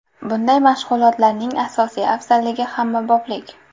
Bunday mashg‘ulotlarning asosiy afzalligi hammaboplik.